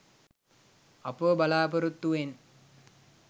අපව බලාපොරොත්තුවෙන්